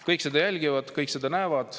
Kõik jälgivad seda, kõik näevad seda.